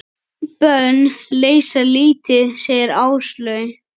Bönn leysa lítið, segir Áslaug.